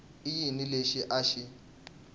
i yini lexi a xi